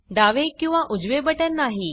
डावे किंवा उजवे बटण नाही